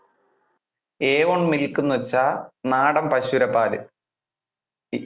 a one milk എന്ന് വെച്ചാൽ നാടൻ പശുവിടെ പാല്. ഇല്ല ഇല്ല